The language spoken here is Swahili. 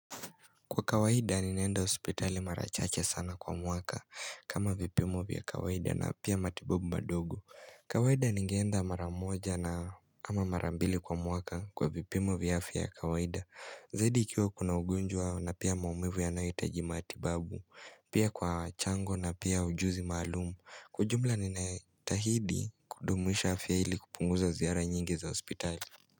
Kwa kawaida ninenda ospitali marachache sana kwa mwaka kama vipimu vya kawaida na pia matibobu madogo kawaida ningenda maramoja na ama marambili kwa mwaka kwa vipimu vya afya kawaida Zadi ikiwa kuna ugunjwa na pia maumivu ya naitaji matibabu pia kwa chango na pia ujuzi malumu Kujumla ni na tahidi kudumisha afya hili kupunguza ziara nyingi za ospitali.